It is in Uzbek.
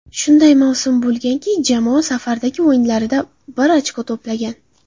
Shunday mavsum bo‘lganki, jamoa safardagi o‘yinlarda bir ochko to‘plagan.